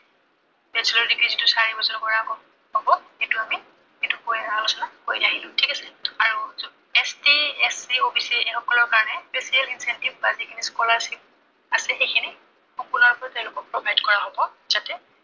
casualy যিটো চাৰি বছৰৰ পৰা পাব, সেইটোকা, সেইটো আমি আলোচনা কৰি আহিলো, ঠিক আছে। আৰু ST, SC, OBC এইসকলৰ কাৰনে, special attentive বা যিখিনি scholarship আছে সেইখিনি সম্পূৰ্ণৰূপে তেওঁলোকক provide কৰা হব, যাতে